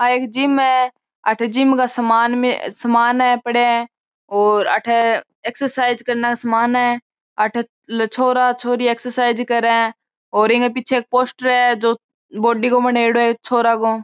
या एक जिम है अठे जिम का सामान पड़ा है और अठे एक्सरसइज करन को सामान है अठे छोरा छोरी एक्सरसइज करे है और इ के पीछे एक पोस्टर है जो बॉडी को बनेडो है एक छोरे को --